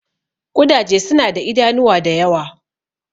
Ƙudaje suna da idanuwa da yawa.